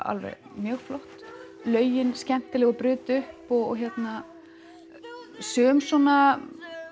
mjög flott lögin skemmtileg og brutu upp sum svona